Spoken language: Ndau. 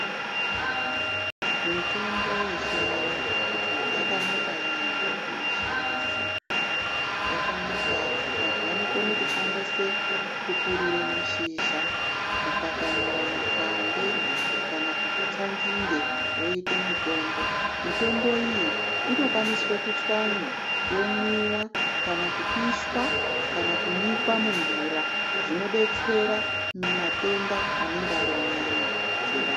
Mitombo yechiantu yakanaka yambo kuyishandisa, yakanaka vantu vanokone kushandise, kupurure mashizha, kukwatanura makwande, kana kutsa nzinde woyite mitombo. Mitombo iyi inokwaniswe kutswanywa yomwiwa kana kupishwa kana kunyikwa mumvura zvinodetsera matenda anenge ari munyama dzevantu.